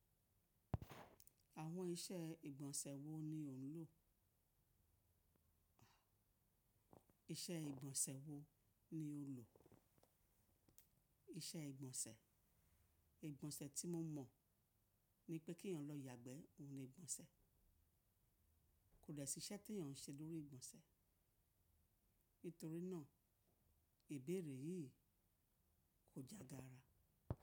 Àwọn iṣẹ́ ìgbọ̀nsẹ̀ wo ni ò ń lò? Iṣẹ́ ìgbọ̀nsẹ̀ wo ni ó lò? Iṣẹ́ ìgbọ̀nsẹ̀. Ìgbọ̀nsẹ̀ tí mo mọ̀ ni pé kí eèyàn lọ yàgbẹ́, òhun ni ìgbọ̀nsẹ̀. Kò de sí iṣẹ́ tí eèyàn ń ṣe lórí ìgbọ̀nsẹ̀. Ítorí náà ìbéèrè yìí kò jágara.